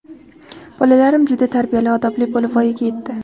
Bolalarim juda tarbiyali, odobli bo‘lib voyaga yetdi.